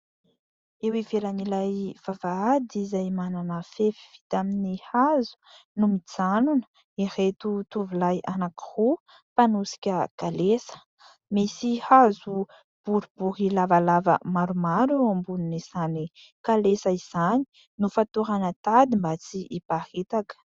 Eo ivelan'ilay vavahady izay manana fefy vita amin'ny hazo no mijanona ireto tovolahy anak'iroa mpanosika kalesa. Misy hazo boribory lavalava maromaro eo ambonin'ny izany kalesa izany. Nofatorana tady mba tsy iparitaka.